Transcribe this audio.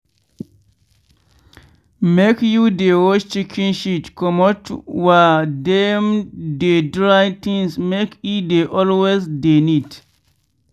make you dey wash chicken shit comot were dem dey dry tins make e dey always dey neat.